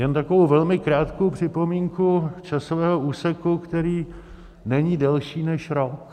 Jen takovou velmi krátkou připomínku časového úseku, který není delší než rok.